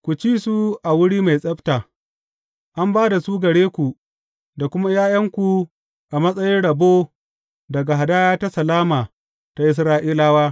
Ku ci su a wuri mai tsabta; an ba da su gare ku da kuma ’ya’yanku a matsayin rabo daga hadaya ta salama ta Isra’ilawa.